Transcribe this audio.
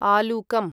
आलुकम्